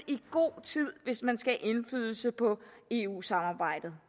i god tid hvis man skal have indflydelse på eu samarbejdet